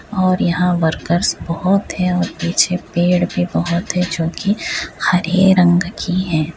और यहाँ वर्कर्स बोहोत है और पीछे पेड़ भी बोहोत है जोकी हरे रंग की है।